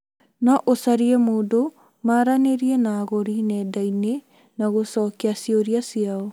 No ũcarie mũndũ maranĩrie na agũri nenda-inĩ na gũcokia ciũria ciao